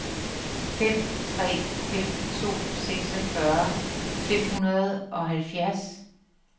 fem tre fem to seksogfyrre fem hundrede og halvfjerds